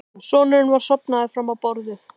Sonurinn var sofnaður fram á borðið.